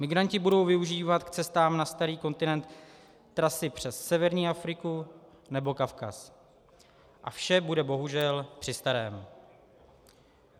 Migranti budou využívat k cestám na starý kontinent trasy přes severní Afriku nebo Kavkaz a vše bude bohužel při starém.